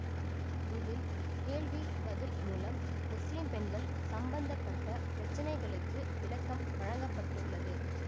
இதில் கேள்வி பதில் மூலம் முஸ்லிம் பெண்கள் சம்பந்த பட்ட பிரச்சினைகளுக்கு விளக்கம் வழங்க பட்டுள்ளது